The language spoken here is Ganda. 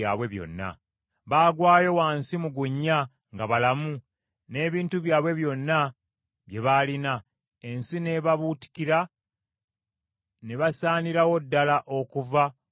Baagwayo wansi mu gunnya nga balamu, n’ebintu byabwe byonna bye baalina; ensi n’ebabuutikira, ne basaanirawo ddala okuva mu bannaabwe.